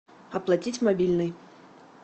оплатить мобильный